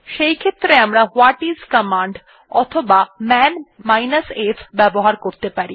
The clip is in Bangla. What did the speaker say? সেইক্ষেত্রে আমরা ওয়াটিস কমান্ড অথবা মান f ব্যবহার করতে পারি